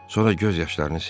Sonra göz yaşlarını sildi.